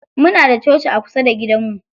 Muna da coci a kusa da gidanmu.